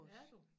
Er du